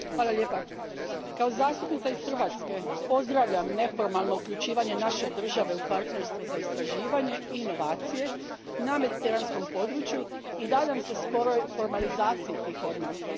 Gospodine predsjedniče, kao zastupnica iz Hrvatske pozdravljam neformalno uključivanje naše države u partnerstvo za istraživanje i inovacije na mediteranskom području i nadam se skorom formaliziranju tih odnosa.